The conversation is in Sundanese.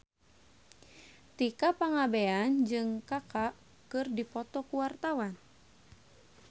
Tika Pangabean jeung Kaka keur dipoto ku wartawan